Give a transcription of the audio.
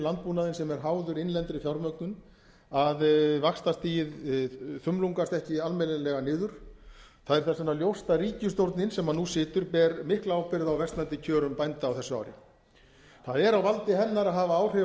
landbúnaðinn sem er háður innlendri fjármögnun að vaxtastigið þumlungast ekki almennilega niður það er þess vegna ljóst að ríkisstjórnin sem nú situr ber mikla ábyrgð á versnandi kjörum bænda á þessu ári það er á valdi hennar að hafa áhrif